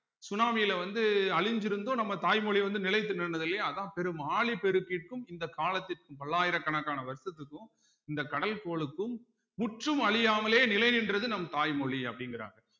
சுனாமில வந்து அழிஞ்சிருந்தும் நம்ம தாய்மொழி வந்து நிலைத்து நின்னது இல்லையா அதான் பெரும் ஆழிப்பெருக்கிற்கும் இந்த காலத்திற்கும் பல்லாயிரக்கணக்கான வருஷத்துக்கும் இந்த கடல் கோளுக்கும் முற்றும் அழியாமலே நிலை நின்றது நம் தாய்மொழி அப்படிங்கிறாங்க